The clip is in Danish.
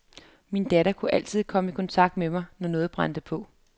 Min datter kunne altid komme i kontakt med mig, når noget brændte på.